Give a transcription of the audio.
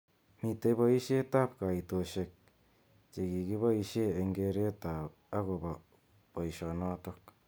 Mitei boishet ab kaitoshek chekikiboishe eng keret akobo boishonotok.